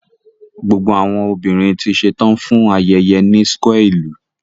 Gbogbo awọn obinrin ti ṣetan fun ayẹyẹ ni square ilu